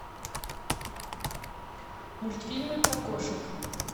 мультфильмы про кошек